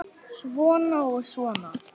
Löngu orðin hefð.